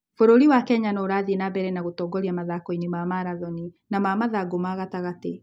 Bũrũri wa Kenya no ũrathiĩ na mbere na gũtongoria mathako-inĩ ma marathon na ma mathangũ ma gatagatĩ.